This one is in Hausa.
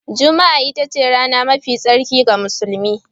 Juma'a ita ce rana mafi tsarki ga musulmi